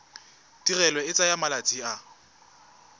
tirelo e tsaya malatsi a